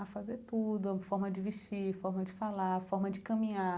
a fazer tudo, a forma de vestir, a forma de falar, a forma de caminhar.